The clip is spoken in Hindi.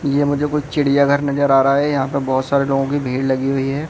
ये मुझे कुछ चिड़िया घर नजर आ रहा है यहां पर बहुत सारे लोगों की भीड़ लगी हुई है।